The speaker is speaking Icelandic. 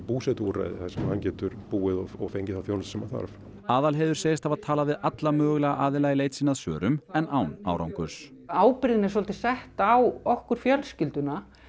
búsetuúrræði þar sem hann getur búið og fengið þá þjónustu sem hann þarf Aðalheiður segist hafa talað við alla mögulega aðila í leit sinni að svörum en án árangurs ábyrgðin er sett á okkur fjölskylduna